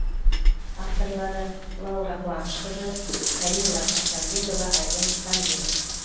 авторлары лаура қуанышқызы камила тастанбекова айбын құсанбеков